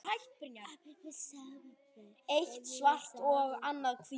Góðar íbúðir seljast fljótt.